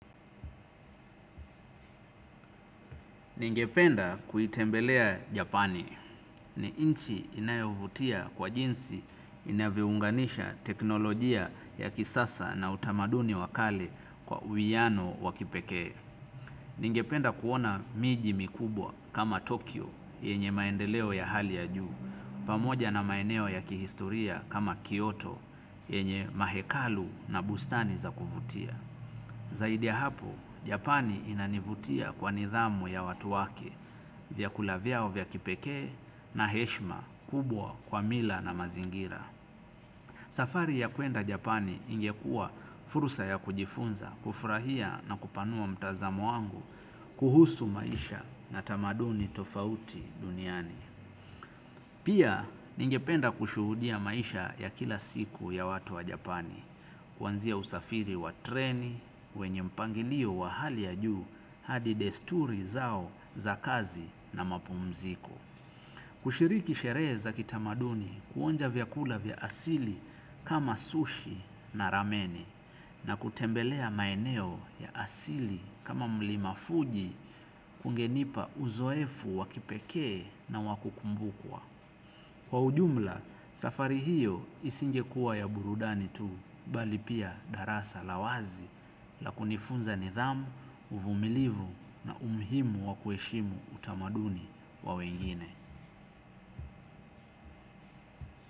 Ningependa kuitembelea Japani ni nchi inayovutia kwa jinsi inavyounganisha teknolojia ya kisasa na utamaduni wa kale kwa uiwano wa kipekee. Ningependa kuona miji mikubwa kama Tokyo yenye maendeleo ya hali ya juu, pamoja na maeneo ya kihistoria kama Kyoto yenye mahekalu na bustani za kuvutia. Zaidi ya hapo japani inanivutia kwa nidhamu ya watu wake vyakula vyao vya kipekee na heshima kubwa kwa mila na mazingira safari ya kuenda Japani ingekua fursa ya kujifunza, kufurahia na kupanua mtazamo wangu, kuhusu maisha na tamaduni tofauti duniani. Pia ningependa kushuhudia maisha ya kila siku ya watu wa Japani, kuanzia usafiri wa treni, wenye mpangilio wa hali ya juu, hadi desturi zao za kazi na mapumziko. Kushiriki sherehe za kitamaduni kuonja vyakula vya asili kama sushi na rameni, na kutembelea maeneo ya asili kama mlima fuji hungenipa uzoefu wa kipekee na wa kukumbukwa. Kwa ujumla, safari hiyo isingekua ya burudani tu, bali pia darasa la wazi, la kunifunza nidhamu, uvumilivu na umuhimu wa kuheshimu utamaduni wa wengine.